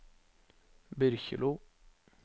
Byrkjelo